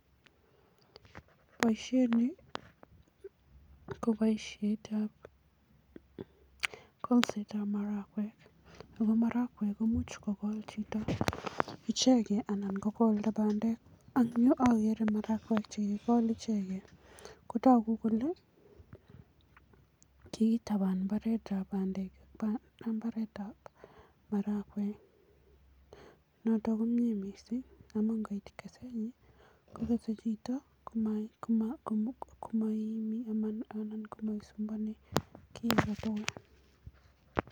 Boisiet ni ko boisietab kolsetab marakwek ako marakwek komuch kokol chito ichekei anan kokolda bandek ang yu ageere marakwek che kikikol ichekei, kotoku kole kikitaban imbaaretab bandek ak imbaaretab marakwek, noto komie mising amun ngoit keset nyin kokesei chito komaiimi anan komaisumbuani kiy age tugul.